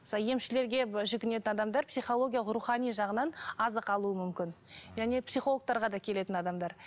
сол емшілерге жүгінетін адамдар психологиялық рухани жағынан азық алуы мүмкін яғни психологтарға да келетін адамдар